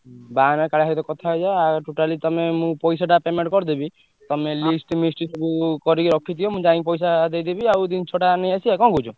ବାହାନ ଆଉ କାଳିଆ ସହିତ କଥା ହେଇଯାଅ ଆଉ totally ତମେ ମୁଁ ପଇସାଟା payment କରିଦେବି। ତମେ list ମିଷ୍ଟ ସବୁ କରିକି ରଖିଥିବ ମୁଁ ଯାଇ ପଇସା ଦେଇଦେବି ଆଉ ଜିନିଷଟା ନେଇଆସିଆ ଆଉ କଣ କହୁଛ?